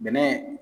Bɛnɛ